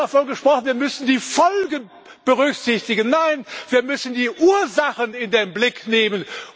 Hier wird davon gesprochen, wir müssten die Folgen berücksichtigen. Nein, wir müssen die Ursachen in den Blick nehmen!